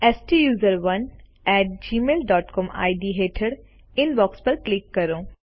સ્ટુસરોને at Gmail dot C O M ઇડ હેઠળ inbox પર ક્લિક કરો